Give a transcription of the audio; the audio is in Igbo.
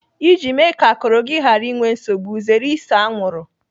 Iji mee ka akụrụ gị ghara inwe nsogbu, zere ise anwụrụ.